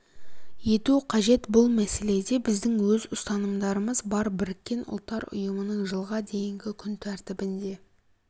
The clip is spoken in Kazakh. ету қажет бұл мәселеде біздің өз ұстанымдарымыз бар біріккен ұлттар ұйымының жылға дейінгі күн тәртібінде